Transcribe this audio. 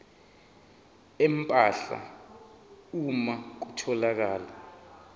empahla uma kutholakala